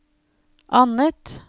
annet